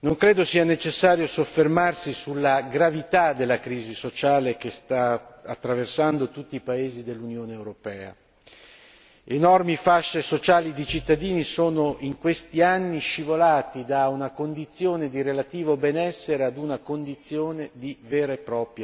non credo sia necessario soffermarsi sulla gravità della crisi sociale che sta attraversando tutti i paesi dell'Unione europea enormi fasce sociali di cittadini sono in questi anni scivolati da una condizione di relativo benessere a una condizione di vera e propria povertà.